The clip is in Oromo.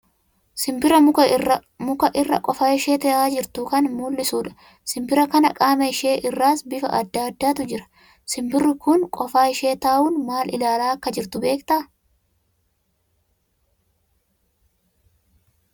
Simbira muka irra qofa ishee tahaa jirtu kan mullisuu dha. Simbira kana qaama ishee irras bifa addaa addaatu jira. Simbirri kun qofaa ishee taa'uun maal ilaalaa akka jirtu beektaa ?